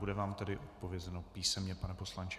Bude vám tedy odpovězeno písemně, pane poslanče.